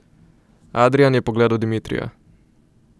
Adrijan je pogledal Dimitrija.